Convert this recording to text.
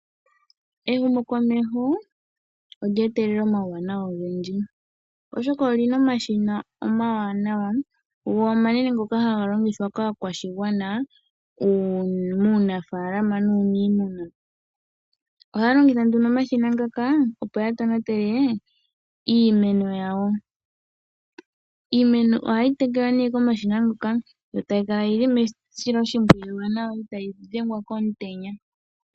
Ehumo komeho olye etelela omawuwanawa ogendji oshoka olina omashina omawanawa go omanene ngoka haga longithwa kaakwashigwana uunafaalama nuuniimuna. Ohaya longitha omashina ngaka opo yatonatele iimeno yawo. Iimeno ohayi tekelwa nee komashina ngoka yo tayikala yili mesilo shimpwiyu itaayi dhengwa komutenya.